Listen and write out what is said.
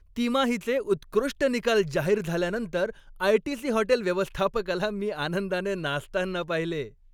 तिमाहीचे उत्कृष्ट निकाल जाहीर झाल्यानंतर आयटीसी हॉटेल व्यवस्थापकाला मी आनंदाने नाचताना पाहिले.